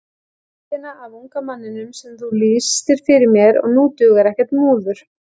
Myndina af unga manninum sem þú lýstir fyrir mér og nú dugar ekkert múður.